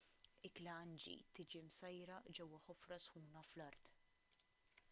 ikla hangi tiġi msajra ġewwa ħofra sħuna fl-art